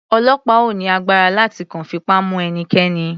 Ọlọ́pàá ò ní agbára láti kàn fipá mu ẹnikẹ́ni.